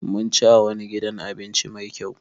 Mun ci a wani gidan abinci Mai kyau.